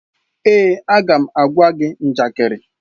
Èè, a ga m agwa gị njakịrị.